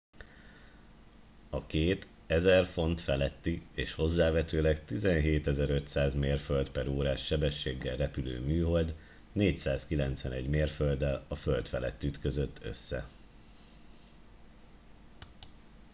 a két 1000 font feletti és hozzávetőleg 17 500 mérföld/órás sebességgel repülő műhold 491 mérfölddel a föld felett ütközött össze